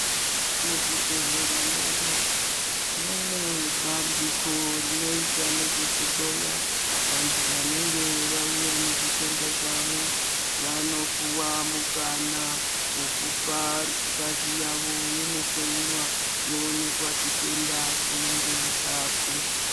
Muzvibhedhlera medu mune bandiko rinoita nezvekuhloya vantu vanenge vauya nezvitenda zvavo, vanopuwa mukana wekupa ngazi yavo yondohloyiwa yoonekwa chitenda chinenge chaapo.